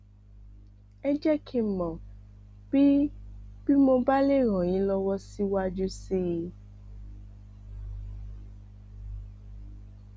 ẹ jẹ kí n mọ bí bí mo bá lè ràn yín lọwọ síwájú sí i